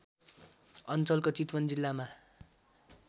अञ्चलको चितवन जिल्लामा